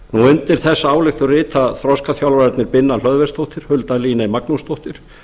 undir þessa ályktun rita þroskaþjálfarnir binna hlöðversdóttir hulda líney magnúsdóttir